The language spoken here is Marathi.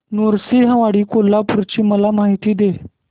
नृसिंहवाडी कोल्हापूर ची मला माहिती दे